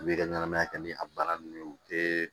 U b'i ka ɲɛnamaya kɛ ni a baara nunnu ye u tɛ